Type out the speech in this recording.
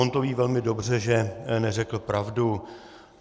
On to ví velmi dobře, že neřekl pravdu.